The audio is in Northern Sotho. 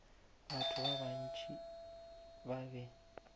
batho ba bantši ba be